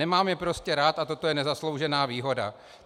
Nemám je prostě rád a toto je nezasloužená výhoda.